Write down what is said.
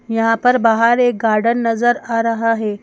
यहाँ पर बाहर एक गार्डन नजर आ रहा है।